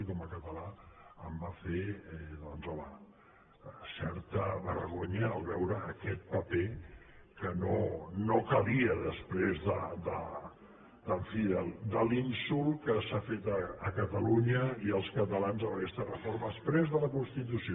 i com a català em va fer doncs home certa vergonya veure aquest paper que no calia després en fi de l’insult que s’ha fet a catalunya i als catalans amb aquesta reforma exprés de la constitució